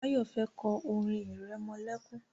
Báyọ̀ fẹ́ kọ́ orin irẹmọlẹ́kún